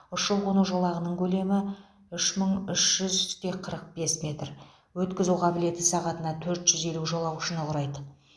ұшу қону жолағының көлемі үш мың үш жүзте қырық бес метр өткізу қабілеті сағатына төрт жүз елу жолаушыны құрайды